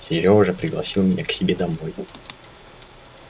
серёжа пригласил меня к себе домой